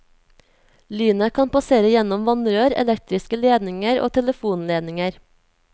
Lynet kan passere gjennom vannrør, elektriske ledninger og telefonledninger.